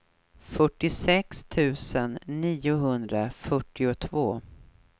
fyrtiosex tusen niohundrafyrtiotvå